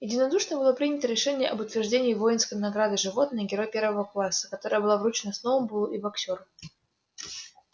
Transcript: единодушно было принято решение об утверждении воинской награды животное герой первого класса которая была вручена сноуболлу и боксёру